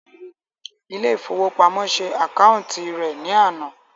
Ilé ifówópamọ́ sé àkáúntì rẹ̀ ní àná